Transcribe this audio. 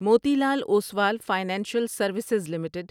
Moti Lal Oswal financial services limited